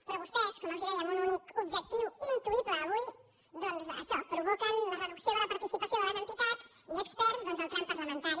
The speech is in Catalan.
però vostès com els deia amb un únic objectiu intuï·ble avui doncs això provoquen la reducció de la par·ticipació de les entitats i experts al tram parlamentari